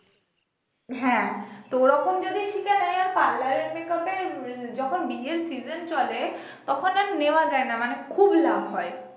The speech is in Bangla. হ্যাঁ তো ও রকম যদি শিখে নেয় আর parlour এর makeup এ যখন বিয়ের season চলে তখন আর নেওয়া যায় না মানে খুব লাভ হয়